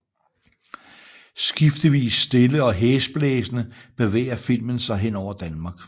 Skiftevis stille og hæsblæsende bevæger filmen sig hen over Danmark